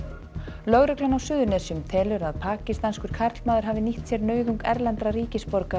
lögreglan á Suðurnesjum telur að pakistanskur karlmaður hafi nýtt sér nauðung erlendra ríkisborgara í